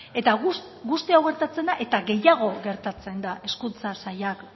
eta guzti hau gertatzen da eta gehiago gertatzen da hezkuntza sailak